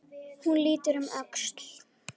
Hún lítur um öxl.